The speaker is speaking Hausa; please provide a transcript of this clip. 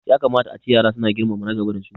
Ya kamata ace yara su na girmama na gaba da su